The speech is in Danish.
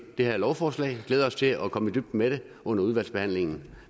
det her lovforslag men glæder os til at komme i dybden med det under udvalgsbehandlingen